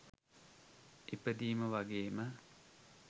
ඉපදීම වගේම